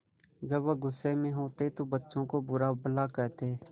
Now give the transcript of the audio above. जब वह गुस्से में होते तो बच्चों को बुरा भला कहते